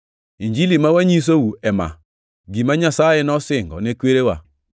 “Injili ma wanyisou ema: Gima Nyasaye nosingo ne kwerewa